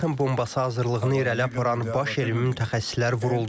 Atom bombası hazırlığını irəli aparan baş elmi mütəxəssislər vuruldu.